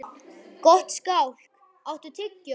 Gottskálk, áttu tyggjó?